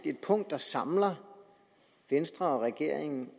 et punkt der samler venstre og regeringen